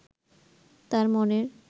তার মনের